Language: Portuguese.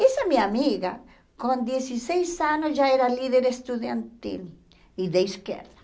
Essa minha amiga, com dezesseis anos, já era líder estudantil e da esquerda.